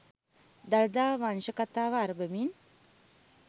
දළදා වංශ කථාව අරඹමින්